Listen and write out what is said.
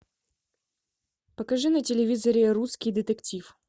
покажи на телевизоре русский детектив